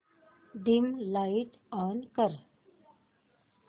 dim light on कर